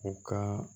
U ka